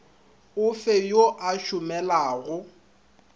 o fe yo a šomelago